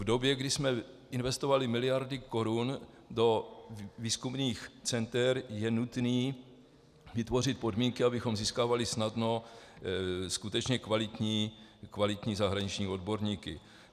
V době, kdy jsme investovali miliardy korun do výzkumných center, je nutné vytvořit podmínky, abychom získávali snadno skutečně kvalitní zahraniční odborníky.